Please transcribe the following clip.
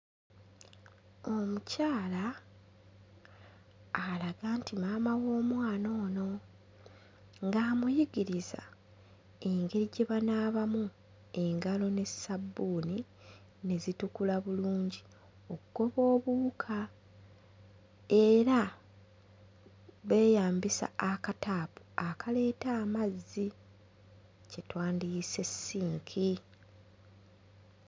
Omukyala alaga nti maama w'omwana ono ng'amuyigiriza engeri gye banaabamu engalo ne ssabbuuni ne zitukula bulungi oggoba obuwuka era beeyambisa akataapu akaleeta amazzi kye twandiyise sink.